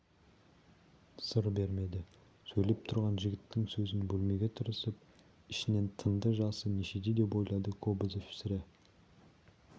сыр бермеді сөйлеп тұрған жігіттің сөзін бөлмеуге тырысып ішінен тынды жасы нешеде деп ойлады кобозев сірә